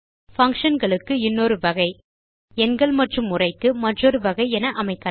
function களுக்கு இன்னொரு வகை எண்கள் மற்றும் உரைக்கு மற்றொரு வகை என அமைக்கலாம்